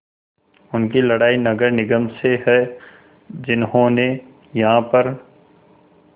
उनकी लड़ाई नगर निगम से है जिन्होंने यहाँ पर